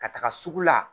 Ka taga sugu la